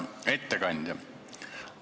Hea ettekandja!